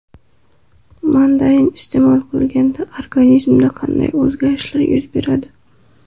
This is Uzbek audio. Mandarin iste’mol qilinganda organizmda qanday o‘zgarishlar yuz beradi?.